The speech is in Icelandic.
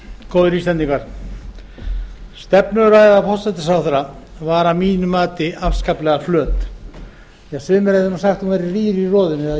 góðir áheyrendur stefnuræða forsætisráðherra var að mínu mati afskaplega flöt sumir hefðu orðað það þannig að hún væri rýr í roðinu